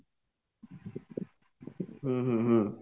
ହୁଁ ହୁଁ ହୁଁ